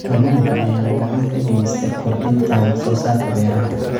Kalluunka ayaa gacan ka geysta kordhinta wax soo saarka beeraha.